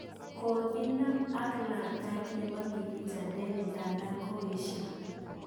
Ngokinap ak letaet nepo Kivita David ndadan koesha.